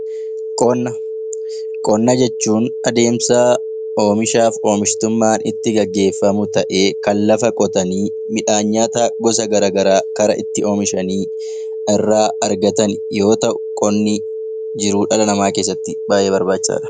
Qonna Qonna jechuun adeemsa oomishaa fi oomishtummaa itti gaggeeffamu ta'ee kan lafa qotanii midhaan nyaataa gosa garaagaraa itti oomishanii irraa argatan yoo ta'u, jirruu dhala namaa keessatti baayyee barbaachisaadha.